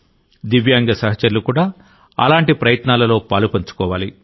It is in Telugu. దివ్యాంగ సహచరులు కూడా అలాంటి ప్రయత్నాలలో పాలుపంచుకోవాలి